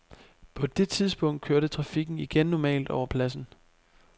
På det tidspunkt kørte trafikken igen normalt over pladsen.